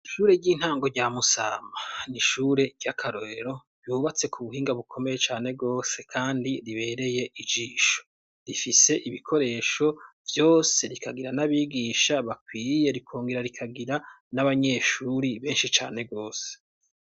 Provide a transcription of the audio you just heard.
Ishure ry'intango rya Musama, n'ishure ry'akarorero, ryubatse ku buhinga bukomeye cane rwose, kandi ribereye ijisho, rifise ibikoresho vyose, rikagira n'abigisha bakwiye, rikongera rikagira n'abanyeshuri benshi cane rwose.